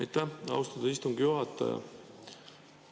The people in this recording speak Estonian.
Aitäh, austatud istungi juhataja!